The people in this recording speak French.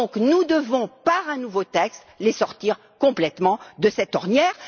Nous devons donc, par un nouveau texte, les sortir complètement de cette ornière.